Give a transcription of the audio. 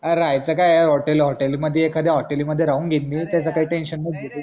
अरे राहायचं काय ए hotel मादी एखाद्या hotel मध्ये राहून घेईल मी त्याच काही tension नको घेऊ तू